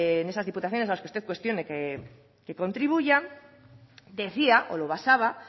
en esas diputaciones a las que usted cuestione que contribuyan decía o lo basaba